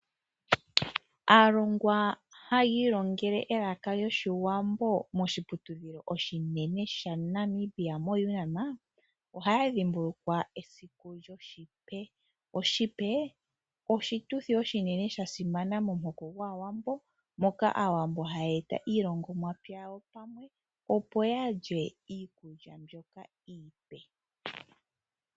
Aalongwa hayi ilongele elaka lyoshiwambo moshiputudhilo oshinene shaNamibia moUNAM oha ya dhimbulukwa esiku lyoshipe. Esiku lyoshipe oshituthi oshinene sha simana momuhoko gwaawambo. Moka aawambo haya eta iilongomwa pya yawo pamwe opo yalye iikulya mbyoka iipe.